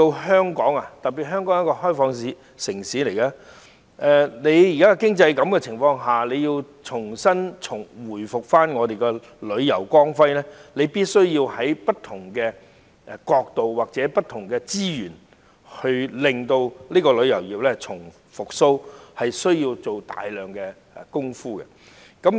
香港是一個開放城市，在現時的經濟情況下，若想重見本港旅遊業的光輝，便必須從不同角度出發，投入資源重振旅遊業，更要做大量相關工作。